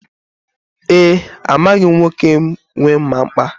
E, amaghị m nwoke nwe mma mkpa a.